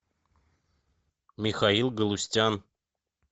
михаил галустян